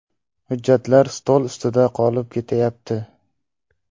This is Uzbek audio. Hujjatlar stol ustida qolib ketayapti.